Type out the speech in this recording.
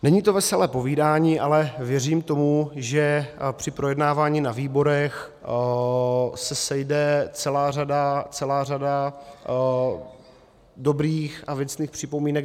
Není to veselé povídání, ale věřím tomu, že při projednávání na výborech se sejde celá řada dobrých a věcných připomínek.